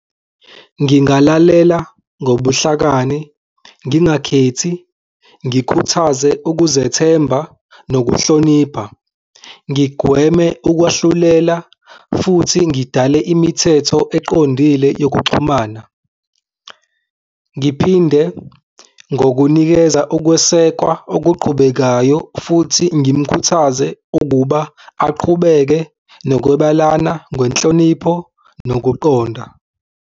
Ngingalalela ngobuhlakani ngingakhethi ngikhuthaze ukuzethemba nokuhlonipha, ngigweme ukwahlulela futhi ngidale imithetho eqondile yokuxhumana. Ngiphinde ngokunikeza ukwesekwa okuqhubekayo futhi ngimkhuthaze ukuba aqhubeke nokukwebelana ngenhlonipho nokuqonda.